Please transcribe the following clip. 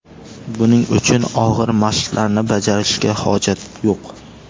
Buning uchun og‘ir mashqlarni bajarishga hojat yo‘q.